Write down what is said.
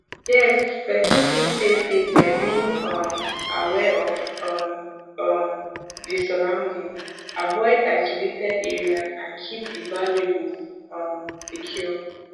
yes pesin fit stay safe by being um aware of um um di surroundings avoid isolated areas and keep di valuables um secure